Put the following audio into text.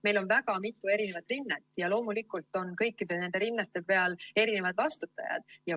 Meil on väga mitu eri rinnet ja kõikide nende rinnete peal on erinevad vastutajad.